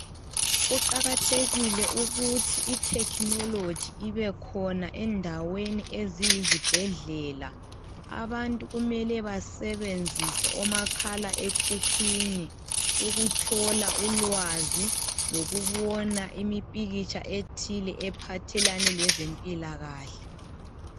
Kuqakathekile ukuthi itechnology ibekhona endaweni eziyizibhedlela. Abantu kumele basebenzise omakhalaekhukhwini. Ukuthola ulwazi. Lokubona impikitsha ethile, ephathelene lezempilakahle.